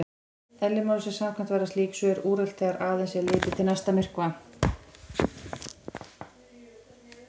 Eðli málsins samkvæmt verða slík svör úrelt þegar aðeins er litið til næsta myrkva.